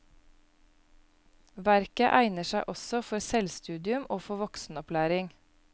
Verket egner seg også for selvstudium og for voksenopplæring.